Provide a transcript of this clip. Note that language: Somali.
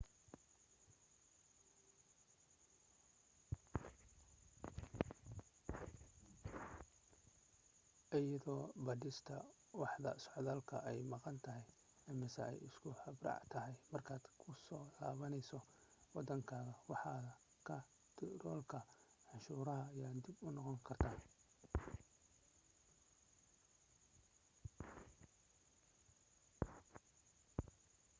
iyadoo baadhista waaxda socdaalku ay maqan tahay amase ay iska habraac tahay markaad ku soo laabanayso waddankaaga waaxda kaantaroolka cashuuraha yaa dhib noqon karta